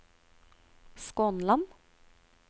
Skånland